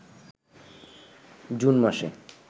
June মাসে